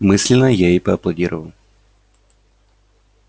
мысленно я ей поаплодировал